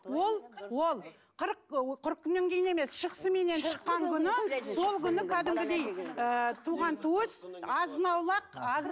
ол ол қырық ы қырық күннен кейін емес шықсыменен шыққан күні сол күні кәдімгідей ыыы туған туыс азын аулақ